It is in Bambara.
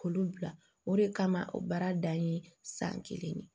K'olu bila o de kama o baara dan ye san kelen de ye